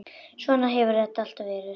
Svona hefur þetta alltaf verið.